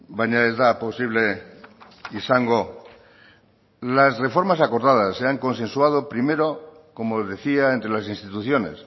baina ez da posible izango las reformas acordadas se han consensuado primero como decía entre las instituciones